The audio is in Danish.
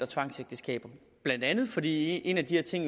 tvangsægteskaber blandt andet fordi en af de ting